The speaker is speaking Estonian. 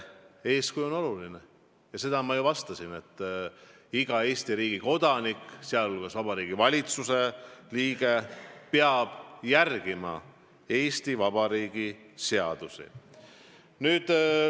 Eeskuju on oluline ja seda ma ju kinnitasin, et iga Eesti riigi kodanik, sh Vabariigi Valitsuse liige, peab järgima Eesti Vabariigi seadusi.